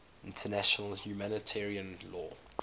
international humanitarian law